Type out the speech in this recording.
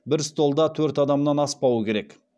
бір столда төрт адамнан аспауы керек